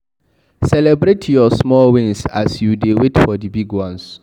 Celebrate your small wins as you dey wait for di big ones